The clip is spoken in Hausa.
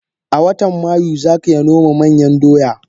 A watan mayu zak yanoma manyan doya.